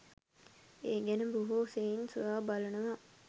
ඒ ගැන බොහෝ සෙයින් සොයා බලනවා.